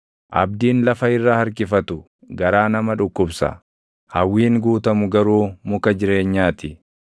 Abdiin lafa irra harkifatu garaa nama dhukkubsa; hawwiin guutamu garuu muka jireenyaa ti.